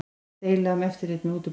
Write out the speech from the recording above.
Deila um eftirlit með útibúum